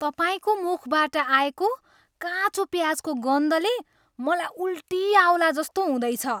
तपाईँको मुखबाट आएको काँचो प्याजको गन्धले मलाई उल्टी आउलाजस्तो हुँदैछ।